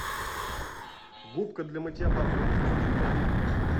губка для мытья посуды скотч брайт